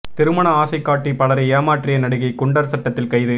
திருமண ஆசை காட்டி பலரை ஏமாற்றிய நடிகை குண்டர் சட்டத்தில் கைது